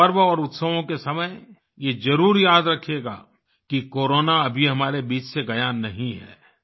पर्व और उत्सवों के समय ये जरुर याद रखिएगा कि कोरोना अभी हमारे बीच से गया नहीं है